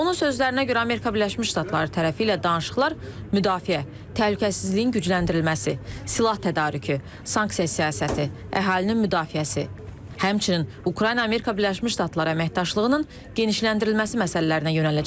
Onun sözlərinə görə Amerika Birləşmiş Ştatları tərəfi ilə danışıqlar müdafiə, təhlükəsizliyin gücləndirilməsi, silah tədarükü, sanksiya siyasəti, əhalinin müdafiəsi, həmçinin Ukrayna-Amerika Birləşmiş Ştatları əməkdaşlığının genişləndirilməsi məsələlərinə yönələcək.